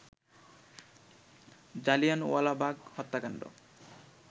জালিয়ানওয়ালাবাগ হত্যাকাণ্ড